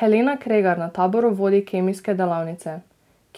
Helena Kregar na taboru vodi kemijske delavnice: